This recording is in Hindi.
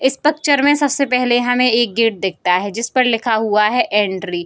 इस पकचर में सबसे पहले हमे एक गेट दिखता है जिसपर लिखा हुआ है एंट्री ।